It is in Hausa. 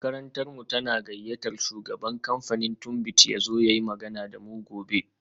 Makarantarmu tana gayyatar shugaban kamfanin Tunbit ya zo ya yi magana da mu gobe